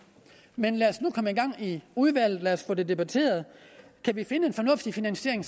men lad os nu komme i gang i udvalget lad os få det debatteret kan vi finde en fornuftig finansiering